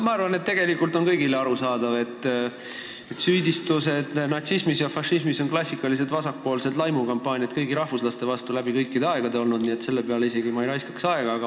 Minu arvates on tegelikult kõigile arusaadav, et süüdistused natsismis ja fašismis on läbi aegade olnud klassikalised vasakpoolsed laimukampaaniad kõigi rahvuslaste vastu, nii et selle peale ma ei raiskaks aega.